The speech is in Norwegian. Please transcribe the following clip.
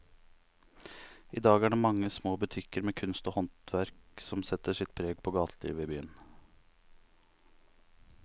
I dag er det de mange små butikkene med kunst og håndverk som setter sitt preg på gatelivet i byen.